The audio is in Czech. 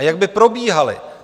A jak by probíhaly?